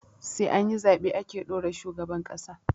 Sai anyi zaɓe ake ɗora shugaban ƙasa